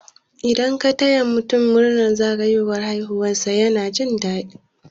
Idan ka taya mutun murnar zagayowar haihuwar sa yana jin dadi